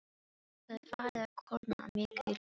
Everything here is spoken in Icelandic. Það er farið að kólna mikið í lofti.